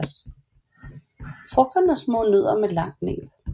Frugterne er små nødder med langt næb